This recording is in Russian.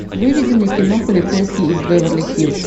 выведи мне кино полицейский из беверли хиллз